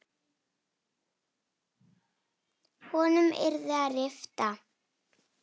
Hjarta hefði hentað betur.